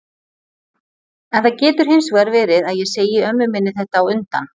En það getur hins vegar verið að ég segi ömmu minni þetta á undan.